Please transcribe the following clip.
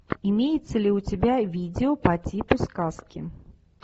имеется ли у тебя видео по типу сказки